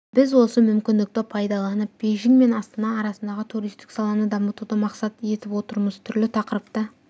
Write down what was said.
біз осы мүмкіндікті пайдаланып бейжің мен астана арасындағы туристік саланы дамытуды мақсат етіп отырмыз түрлі тақырыпта